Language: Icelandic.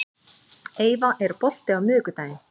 Eyva, er bolti á miðvikudaginn?